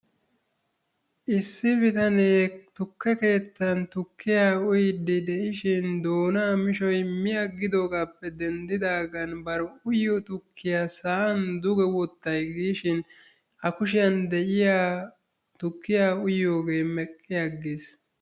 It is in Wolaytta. Issi bitanee tukke keettan tukkiyaa uyyidi de'ishin doona misho mi agidoogappe denddidaagan bar uyyiyo tukjkiya sa'an duge wottaay gishin a kushiyan de'iyaa tukkiya uyiyooge meqi aggis.